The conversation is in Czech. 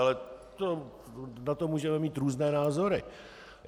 Ale na to můžeme mít různé názory.